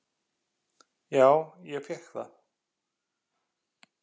"""Já, ég fékk það."""